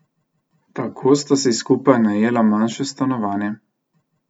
Tako sta si skupaj najela manjše stanovanje.